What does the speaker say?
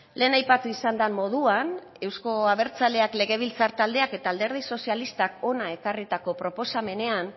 lehen aipatu izan den moduan euzko abertzaleak legebiltzar taldeak eta alderdi sozialistak hona ekarritako proposamenean